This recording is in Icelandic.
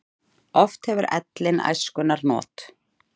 Oft hefur ellin æskunnar not.